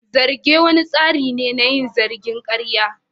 Zarge wani tsari ne na yin zargin karya.